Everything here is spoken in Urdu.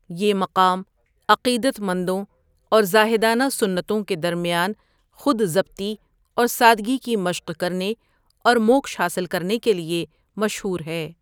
یہ مقام عقیدت مندوں اور زاہدانہ سنتوں کے درمیان خود ضبطی اور سادگی کی مشق کرنے اور موکش حاصل کرنے کے لیے مشہور ہے۔